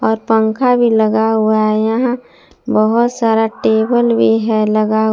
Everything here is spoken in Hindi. पंखा भी लगा हुआ है यहां बहुत सारा टेबल भी है लगा--